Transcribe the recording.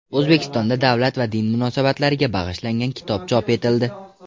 O‘zbekistonda davlat va din munosabatlariga bag‘ishlangan kitob chop etildi.